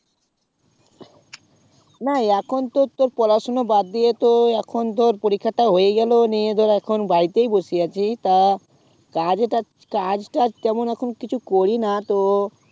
না এখন তো পড়া সোনা বাদ দিয়ে তো এখন তো পরীক্ষাটা হয়ে গেলো নিয়ে ধরে এখন বাড়িতেই বসে আছি তা কাজ তাজ কিনা এখন